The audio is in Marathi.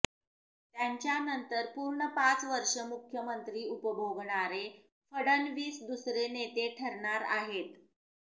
त्यांच्यानंतर पूर्ण पाच वर्षे मुख्यमंत्री उपभोगणारे फडणवीस दुसरे नेते ठरणार आहेत